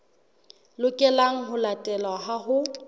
lokelang ho latelwa ha ho